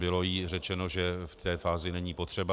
Bylo jí řečeno, že v té fázi není potřeba.